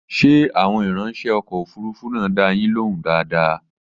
Ṣé àwọn ìrańṣẹ́ ọkọ̀ òfurufú náà dá a yín lóhùn dáadáa?